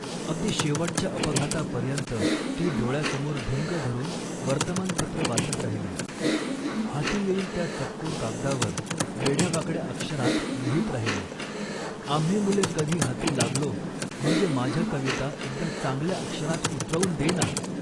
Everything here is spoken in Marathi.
अगदी शेवटच्या अपघातापर्यंत ती डोळ्यासमोर भिंग धरून वर्तमानपत्र वाचत राहिली, हाती येईल त्या चतकोर कागदावर वेड्यावाकड्या अक्षरांत लिहीत राहिली. आम्ही मुले कधी हाती लागलो म्हणजे, 'माझ्या कविता एकदा चांगल्या अक्षरांत उतरवून दे ना